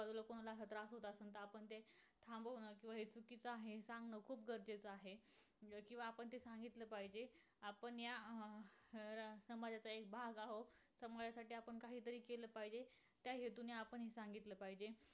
चुकीच आहे हे सांगण खूप गरजेचं आहे. किंवा आपण हे सांगितल पाहिजे. आपण या अं समाजाचा एक भाग आहोत. समाजासाठी आपण काहीतरी केल पाहिजे त्या हेतूने हे सांगितल पाहिजे.